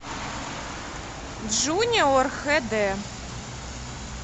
джуниор хэ дэ